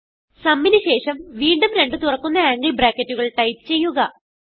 sumന് ശേഷം വീണ്ടും രണ്ട് തുറക്കുന്ന ആംഗിൾ ബ്രാക്കറ്റുകൾ ടൈപ്പ് ചെയ്യുക